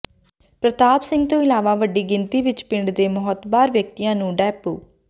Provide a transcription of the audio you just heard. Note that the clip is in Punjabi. ਪ੍ਰਤਾਪ ਸਿੰਘ ਤੋਂ ਇਲਾਵਾ ਵੱਡੀ ਗਿਣਤੀ ਵਿਚ ਪਿੰਡ ਦੇ ਮੋਹਤਬਾਰ ਵਿਅਕਤੀਆਂ ਤੇ ਡੈਪੂ